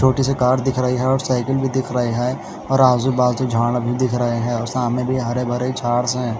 छोटी-सी कार दिख रही है और साइकिल भी दिख रहे है और आजू-बाजू झाड़ भी दिख रहे हैं और सामने भी हरे-भरे झाड्स है।